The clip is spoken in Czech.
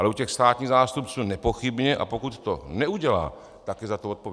Ale u těch státních zástupců nepochybně, a pokud to neudělá, tak je za to odpovědná.